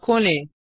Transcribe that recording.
अब खोलें